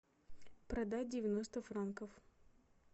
продать девяносто франков